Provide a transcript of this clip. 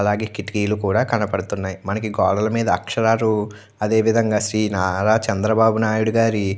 అలాగే కిటికీలు కూడా కనబడుతూ ఉన్నాయి. మనకి గోడల మీద అక్షరాలు అదే విదంగా శ్రీ నారా చంద్రబాబు నాయుడు గారు.